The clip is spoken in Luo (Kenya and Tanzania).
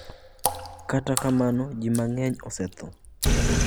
Kata kamano ji mang'eny osetho.